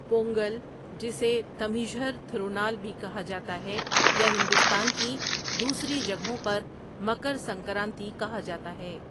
پونگل جسے تمیژھر تھرونال بھی کہا جاتا ہے یا ہندوستان کی دوسری جگہوں پر مکر سنکرانتی کہا جاتا ہے۔